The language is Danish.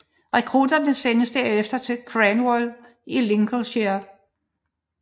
Rekrutterne sendtes derefter til Cranwell i Lincolnshire